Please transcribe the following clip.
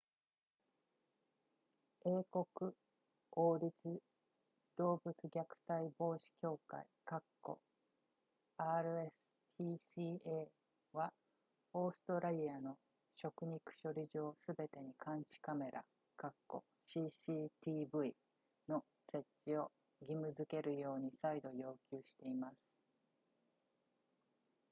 英国王立動物虐待防止協会 rspca はオーストラリアの食肉処理場すべてに監視カメラ cctv の設置を義務付けるように再度要求しています